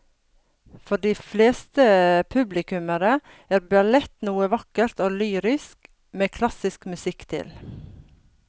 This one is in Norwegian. For de fleste publikummere er ballett noe vakkert og lyrisk med klassisk musikk til.